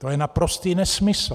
To je naprostý nesmysl.